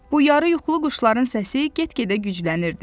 Bu yarı yuxulu quşların səsi get-gedə güclənirdi.